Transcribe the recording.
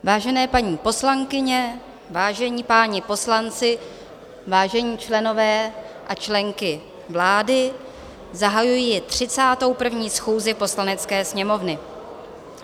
Vážené paní poslankyně, vážení páni poslanci, vážení členové a členky vlády, zahajuji 31. schůzi Poslanecké sněmovny.